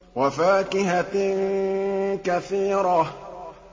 وَفَاكِهَةٍ كَثِيرَةٍ